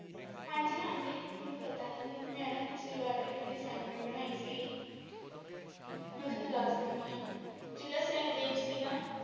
ਹਾਂਜੀ ਹਾਂਜੀ ਮੇਨੂੰ ਪਤਾ ਇੰਨਾ ਦੀ ਮੈਂ ਨਾ ਪਿਛਲੀ ਵਾਰ ਇੰਨਾ ਦੀ assignment ਬਨਾਈ ਸੀਗੀ ਹਾਂਜੀ ਮੈਂ ਤੁਹਾਨੂੰ ਦਸ ਦਿਨੀ ਜੇੜਾ ਸਹਿਦੇਵ ਸੀ ਨਾ।